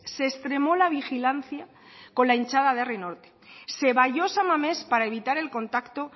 se extremo la vigilancia con la hinchada de herri norte se valló san mames para evitar el contacto